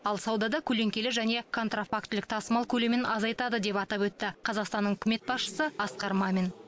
ал саудада көлеңкелі және контрафактілік тасымал көлемін азайтады деп атап өтті қазақстанның үкімет басшысы асқар мамин